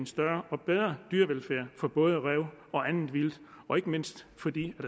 større og bedre dyrevelfærd for både ræve og andet vildt og ikke mindst fordi